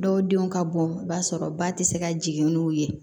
Dɔw denw ka bon i b'a sɔrɔ ba tɛ se ka jigin n'u ye